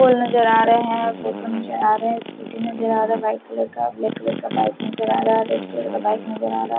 full नजर आ रहे है फोटो नजर आ रहे है स्कूटी नजर आ रहे है वाईट कलर का ब्लैक कलर पाइप नजर आ रहा है रेड कलर का बाइक नजर आ रहा--